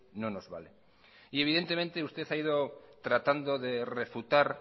no nos vale evidentemente usted ha ido tratando de refutar